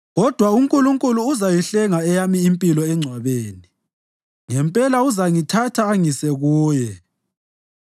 Kodwa uNkulunkulu uzayihlenga eyami impilo engcwabeni; ngempela uzangithatha angise kuye.